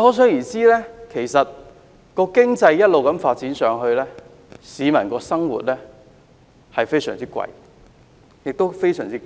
可想而知，經濟一直發展下去，市民生活開支會非常昂貴，也非常艱難。